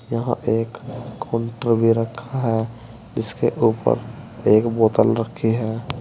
यहां एक काउंटर भी रखा है जिसके ऊपर एक बोतल रखी है।